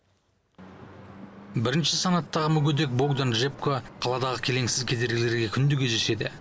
бірінші санаттығы мүгедек богдан джебко қаладағы келеңсіз кедергілерге күнде кездеседі